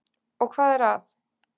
Og hvað er að?